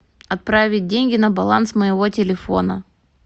отправить деньги на баланс моего телефона